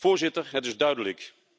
Voorzitter, het is duidelijk.